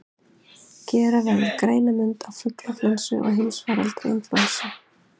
Gera verður greinarmun á fuglaflensu og heimsfaraldri inflúensu.